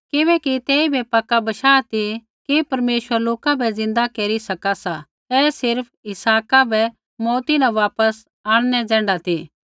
किबैकि तेइबै पक्का बशाह ती कि परमेश्वर लोका बै ज़िन्दा केरी सका सा ऐ सिर्फ़ इसहाका बै मौऊती न वापस आंणनै ज़ैण्ढा ती